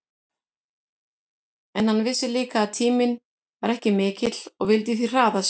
En hann vissi líka að tíminn var ekki mikill og vildi því hraða sér.